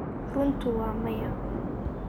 runtu waa maya.